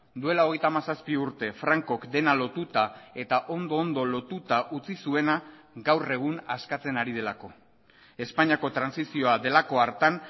duela hogeita hamazazpi urte frankok dena lotuta eta ondo ondo lotuta utzi zuena gaur egun askatzen ari delako espainiako trantsizioa delako hartan